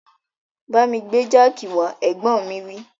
Bámi gbé jáàkì wá, Ẹ̀gbọ́n mi wí